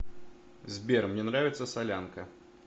сбер мне нравится солянка